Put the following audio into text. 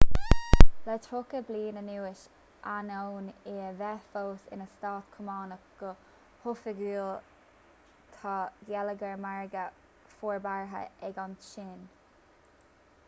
le tríocha bliain anuas ainneoin í a bheith fós ina stát cumannach go hoifigiúil tá geilleagar margaidh forbartha ag an tsín